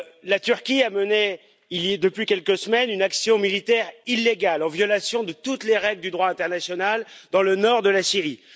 La Turquie a mené depuis quelques semaines une action militaire illégale, en violation de toutes les règles du droit international, dans le nord de la Syrie.